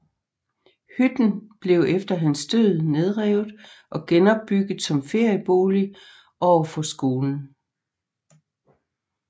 Hytten blev efter hans død nedrevet og genopbygget som feriebolig overfor skolen